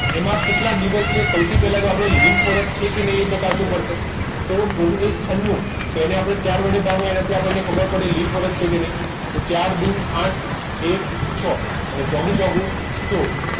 એમાં કેટલા દિવસે સૌથી પહેલા આપણે lip year પર છે એ ચકાસવું પડશે તો ઓગણીસો તો એને આપણે ચાર વડે ભાગો તો એનાથી આપણને ખબર પડે તો importance છે કે નહીં તો ચાર દુ આઠ એક છ અને અને ચોકૂ ચોકૂ સોળ